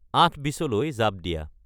আঠ বিচলৈ জাঁপ দিয়া